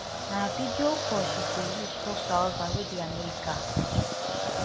na video call she dey use tok to her husband wey dey america